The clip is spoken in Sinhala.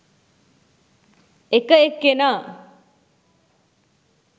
එක එක්කෙනා